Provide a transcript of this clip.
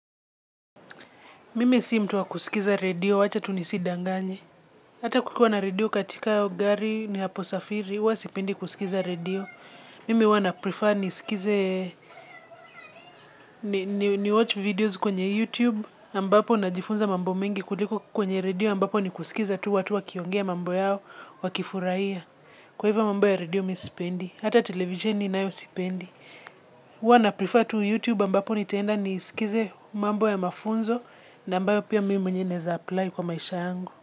Mimi si mtu wa kusikiza radio, wacha tu nisi danganye. Hata kukua na radio katika gari ni hapo safiri, uwa sipendi kusikiza radio. Mimi uwa na prefer nisikize, ni watch videos kwenye YouTube, ambapo na jifunza mambo mingi kuliko kwenye radio, ambapo ni kusikiza tu watu wakiongea mambo yao, wakifuraiya. Kwa hivyo mambo ya radio mi sipendi, hata televisheni nayo sipendi. Huwa na prefer to youtube ambapo nitenda nisikize mambo ya mafunzo na ambayo pia mimi nineza apply kwa maisha yangu.